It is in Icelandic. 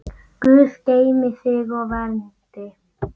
Guð geymi þig og verndi.